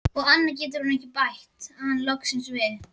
Og annað getur hún ekki, bætti hann loksins við.